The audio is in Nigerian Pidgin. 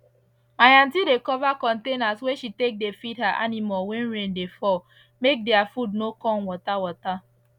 my aunty dey cover containers wey she take dey feed her animal wen rain dey fall make their food no con water water